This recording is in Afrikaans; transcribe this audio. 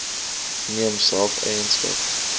neem self eienaarskap